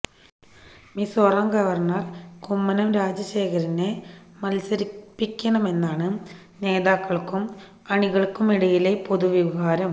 Mizoram governor Kummanam രാജശേഖരനെ മത്സരിപ്പിക്കണെന്നാണ് നേതാക്കള്ക്കും അണികള്ക്കുമിടയിലെ പൊതുവികാരം